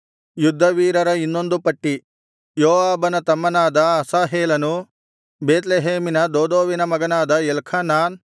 ಯುದ್ಧವೀರರ ಇನ್ನೊಂದು ಪಟ್ಟಿ ಯೋವಾಬನ ತಮ್ಮನಾದ ಅಸಾಹೇಲನು ಬೇತ್ಲೆಹೇಮಿನ ದೋದೋವಿನ ಮಗನಾದ ಎಲ್ಖಾನಾನ್